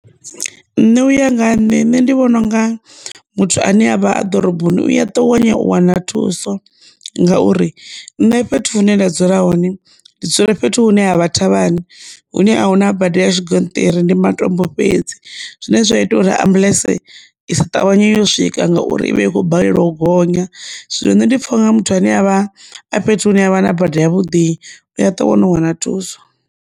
Nṋe uya nga nne ndi vhona unga muthu ane avha a ḓoroboni u ya ṱavhanya u wana thuso ngauri nne fhethu hune nda dzula hone ndi dzula fhethu hune ha vha thavhani hune a huna bada ya tshigonṱiri ndi matombo fhedzi zwine zwa ita uri ambuḽentse i sa ṱavhanye yo swika ngauri ivha i kho balelwa u gonya. Zwino nṋe ndi pfha nga muthu ane avha a fhethu hune havha na bada ya vhuḓi u a to wana u wana thuso.